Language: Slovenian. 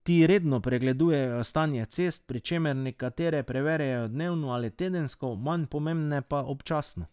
Ti redno pregledujejo stanje cest, pri čemer nekatere preverjajo dnevno ali tedensko, manj pomembne pa občasno.